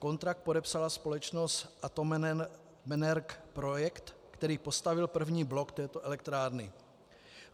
Kontrakt podepsala společnost Atomenergoprojekt, která postavila první blok této elektrárny.